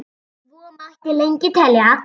Svo mætti lengi telja.